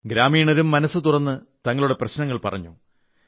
ഗ്രാമീണരും മനസ്സു തുറന്ന് തങ്ങളുടെ പ്രശ്നങ്ങൾ പറഞ്ഞു